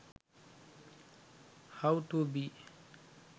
how to be